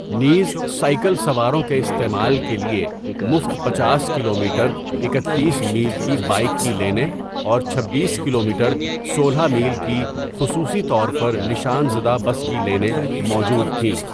نیز، سائیکل سواروں کے استعمال کے لیے مفت پنچاس کلومیٹر اکتیس میل کی بائیک کی لینیں اور چھبیس کلومیٹر سولہ میل کی خصوصی طور پر نشان زدہ بس کی لینیں موجود تھیں.